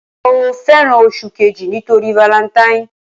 Mo fẹ́ràn oṣù kejì nítorí valentine.